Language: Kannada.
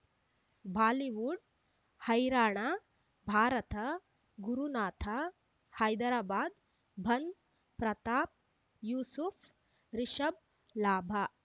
ಬಾಲಿವುಡ್ ಹೈರಾಣ ಭಾರತ ಗುರುನಾಥ ಹೈದರಾಬಾದ್ ಬಂಧ್ ಪ್ರತಾಪ್ ಯೂಸುಫ್ ರಿಷಬ್ ಲಾಭ